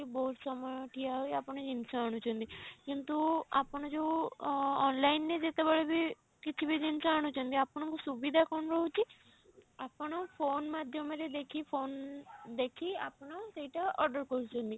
ବହୁତ ସମୟ ଠିଆ ହୋଇ ଆପଣ ଜିନିଷ ଆଣୁଛନ୍ତି କିନ୍ତୁ ଆପଣ ଯଉ ଅ online ରେ ଯେତେବେଳେ ବି କିଛି ବି ଜିନିଷ ଆଣୁଛନ୍ତି ଆପଣଙ୍କୁ ସୁବିଧା କଣ ରହୁଛି ଆପଣ phone ମାଧ୍ୟମ ରେ ଯାଇକି phone ଦେଖି ଆପଣ ସେଇଟା order କରୁଛନ୍ତି